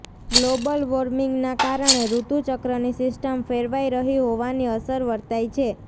global વોર્મીંગનાકારણે ઋતુ ચક્રની સિસ્ટમ ફેરવાઇ રહી હોવાની અસર વર્તાય છે